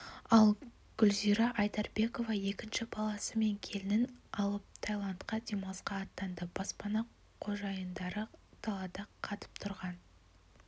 ал гүлзира айдарбекова екінші баласы мен келінін алып тайландқа демалысқа аттанды баспана қожайындары далада қатып тұрған